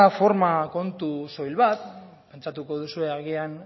forma kontu soil bat pentsatuko duzue agian